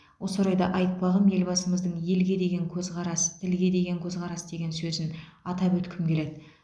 осы орайда айтпағым елбасымыздың елге деген көзқарас тілге деген көзқарас деген сөзін атап өткім келеді